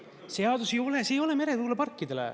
Seadus ei ole, see ei ole meretuuleparkidele.